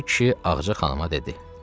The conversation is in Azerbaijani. Piri kişi Ağca xanıma dedi: